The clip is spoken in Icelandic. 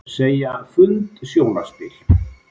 Segja fund sjónarspil